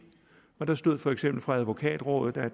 og der stod for eksempel fra advokatrådet at